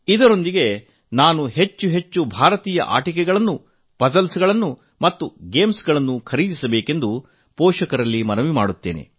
ಇದರೊಂದಿಗೆ ನಾನು ಹೆಚ್ಚು ಹೆಚ್ಚು ಭಾರತೀಯ ಆಟಿಕೆಗಳನ್ನು ಪಧಬಂಧಗಳನ್ನು ಮತ್ತು ಕೀಡಾ ಆಟಿಕೆಗಳನ್ನು ಖರೀದಿಸಬೇಕೆಂದು ಪೋಷಕರನ್ನು ಒತ್ತಾಯಪಡಿಸುತ್ತೇನೆ